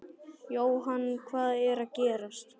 Jóhann, hvað er að gerast?